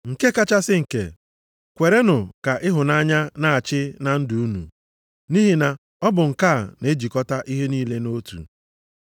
Nke kachasị nke, kwerenụ ka ịhụnanya na-achị achị na ndụ unu, nʼihi na ọ bụ nke a na-ejikọta ihe niile nʼotu.